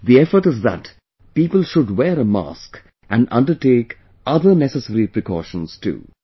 The effort is that people should wear a mask and undertake other necessary precautions too